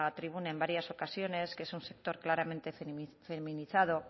tribuna en varias ocasiones que es un sector claramente feminizado